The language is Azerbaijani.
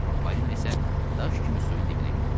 Balina isə daş kimi suyun dibinə getdi.